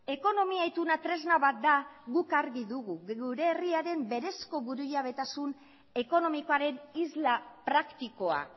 ekonomia ituna tresna bat da guk argi dugu gure herriaren berezko burujabetasun ekonomikoaren isla praktikoa